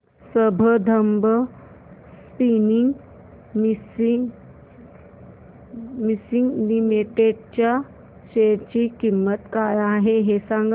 आज Sambandam spinning mills limited च्या share ची किंमत काय आहे हे सांगा